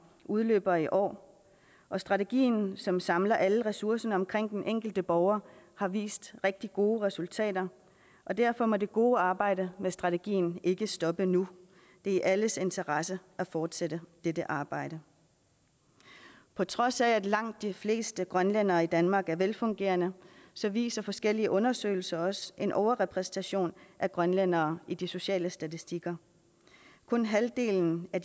udløber i år og strategien som samler alle ressourcerne omkring den enkelte borger har vist rigtig gode resultater og derfor må det gode arbejde med strategien ikke stoppe nu det er i alles interesse at fortsætte dette arbejde på trods af at langt de fleste grønlændere i danmark er velfungerende viser forskellige undersøgelser også en overrepræsentation af grønlændere i de sociale statistikker kun halvdelen af